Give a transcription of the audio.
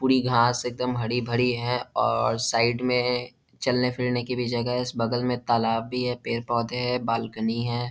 पुरी घास एकदम हरी-भरी है और साइड में चलने-फिरने की भी जगह है इस बगल मे तालाब भी है पेड़-पौधे है बालकनी है।